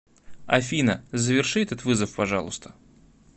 афина заверши этот вызов пожалуйста